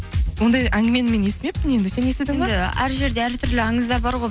ондай әңгімені мен естімеппін енді сен есідің бе әр жерде әр түрлі аңыздар бар ғой